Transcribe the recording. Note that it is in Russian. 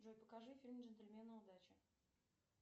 джой покажи фильм джентльмены удачи